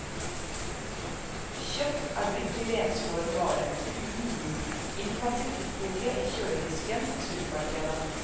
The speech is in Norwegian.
Kjøtt er blitt til renskåren vare, uten blod, innpakket i folie i kjøledisken på supermarkedet.